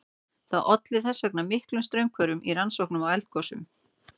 Það olli þess vegna miklum straumhvörfum í rannsóknum á eldgosum.